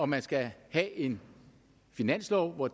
man skal have en finanslov hvor